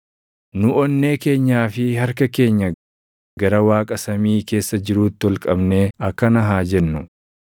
Nu onnee keenyaa fi harka keenya gara Waaqa samii keessa jiruutti ol qabnee akkana haa jennu: